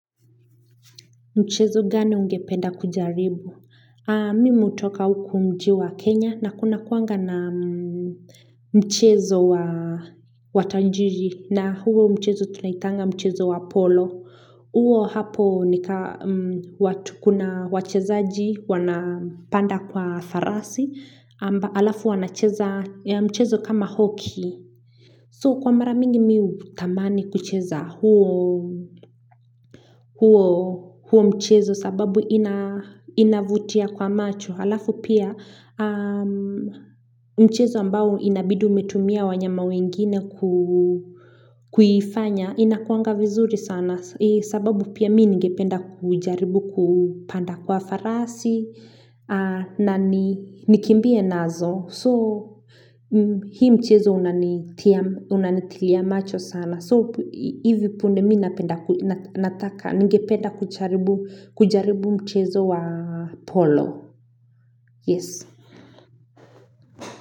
Mchezo gani ungependa kujaribu? Mimi hutoka huku mjiwa Kenya na kuna kuanga na mchezo wa Tanjiri na huo mchezo tunaitanga mchezo wa Apollo. Uo hapo nika watu kuna wachezaaji wanapanda kwa farasi amba alafu wanacheza mchezo kama hockey. So kwa maramingi miu tamani kucheza huo mchezo sababu inavutia kwa macho halafu pia mchezo ambao inabidi umetumia wanyama wengine kuifanya inakuangavizuri sana sababu pia mii ngependa kujaribu kupanda kwa farasi na nikimbie nazo. So, hii mchezo unanitilia macho sana. So, hivi punde minapenda, ninge penda kucharibu mchezo wa polo. Yes.